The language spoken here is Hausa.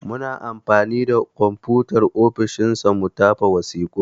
Muna anfani da konfutar ofishin sa mu tafa wasiƙun.